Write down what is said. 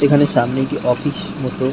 এখানে সামনে একটি অফিস মত।